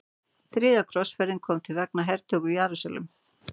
Þriðja krossferðin kom til vegna hertöku Jerúsalem.